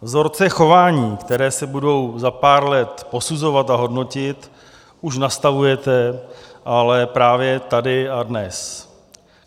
Vzorce chování, které se budou za pár let posuzovat a hodnotit, už nastavujete ale právě tady a dnes.